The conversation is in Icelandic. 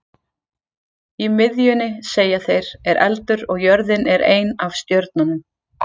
Í miðjunni, segja þeir, er eldur og jörðin er ein af stjörnunum.